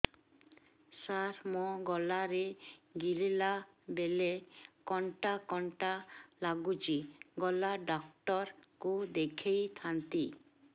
ସାର ମୋ ଗଳା ରେ ଗିଳିଲା ବେଲେ କଣ୍ଟା କଣ୍ଟା ଲାଗୁଛି ଗଳା ଡକ୍ଟର କୁ ଦେଖାଇ ଥାନ୍ତି